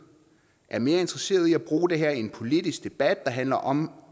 er mere interesseret i at bruge det her i en politisk debat der handler om